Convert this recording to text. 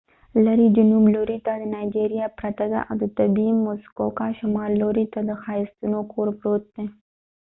لرې جنوب لورې ته نایجیریا پرته ده او شمال لورې ته د muskoka د طبیعي ښایستونو کور پروت دی